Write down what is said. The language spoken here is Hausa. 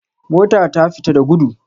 Mota ta fita da gudu.